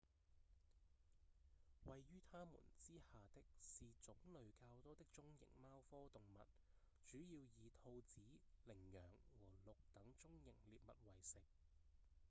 位於牠們之下的是種類較多的中型貓科動物主要以兔子、羚羊和鹿等中型獵物為食